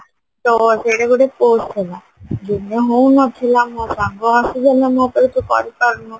ତ ସେଇଟା ଗୋଟେ pose ଥିଲା ଦିନେ ହଉନଥିଲା ମୋ ସାଙ୍ଗ ଆସିଗଲା ମୋ ତୁ କରିପାରୁନୁ